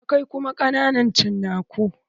Akwai kuma ƙananan cinaku.